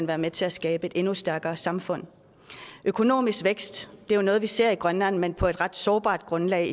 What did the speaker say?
være med til at skabe et endnu stærkere samfund økonomisk vækst er jo noget vi ser i grønland men på et ret sårbart grundlag